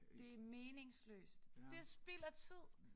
Det meningsløst det spild af tid